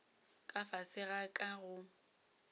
ka fase ga ka go